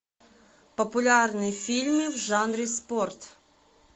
популярные фильмы в жанре спорт